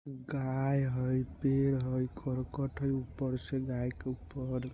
गाय है पेड़ है कर्कट है ऊपर से गाय के ऊपर --